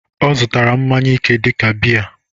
Ọ zụtara mmanya ike dịka biya